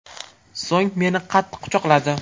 So‘ng meni qattiq quchoqladi.